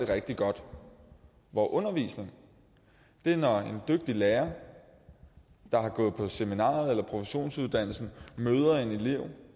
det rigtig godt undervisning er når en dygtig lærer der har gået på seminariet eller en professionsuddannelse møder en elev